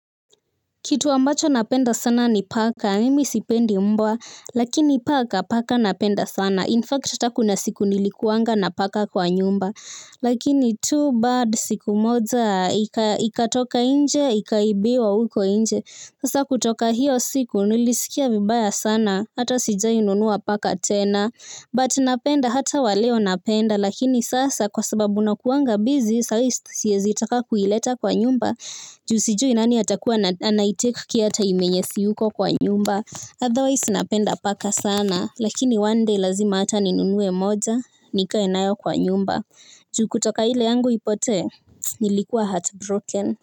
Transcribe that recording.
Kitu ambacho napenda sana ni paka, mimi sipendi mbwa, lakini paka, paka napenda sana. 'Infact', hata kuna siku nilikuanga na paka kwa nyumba. Lakini 'too bad' siku moza, ikatoka nje, ikaibiwa huko nje. Sasa kutoka hiyo siku nilisikia vibaya sana, hata sijawahi nunua paka tena. 'But' napenda hata waleo napenda lakini sasa kwa sababu nakuwanga 'busy' saa hii siwezi taka kuileta kwa nyumba. Ju sijui nani atakuwa 'anaitake care' 'time' yenye siyuko kwa nyumba. 'Otherwise' napenda paka sana lakini 'one day' lazima hata ninunue moja nikae nayo kwa nyumba. Ju kutoka ile yangu ipotee nilikuwa 'heartbroken'